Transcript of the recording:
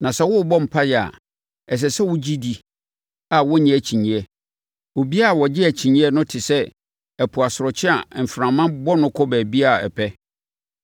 Na sɛ worebɔ mpaeɛ a, ɛsɛ sɛ wogye di a wonnye ho akyinnyeɛ. Obiara a ɔgye akyinnyeɛ no te sɛ ɛpo asorɔkye a mframa bɔ no kɔ baabiara a ɛpɛ.